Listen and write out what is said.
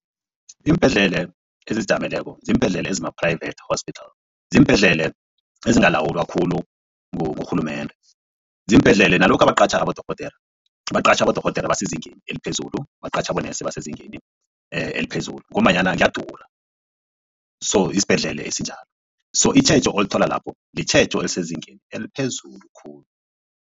Iimbhedlele ezizijameleko ziimbhedlele ezima-private hospital ziimbhedlele ezingalawulwa khulu ngurhulumende. Ziimbedlele nalokha baqatjha abodorhodere baqatjha abodorhodere abasezingeni eliphezulu baqatjha abonesi abasezingeni eliphezulu ngombanyana kuyadura so yisibhedlela esinjalo so itjhejo olithola lapho litjhejo elisezingeni eliphezulu khulu.